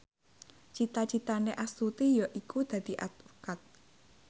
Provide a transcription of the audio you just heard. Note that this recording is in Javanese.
cita citane Astuti yaiku dadi advokat